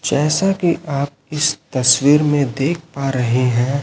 जैसा कि आप इस तस्वीर में देख पा रहे हैं।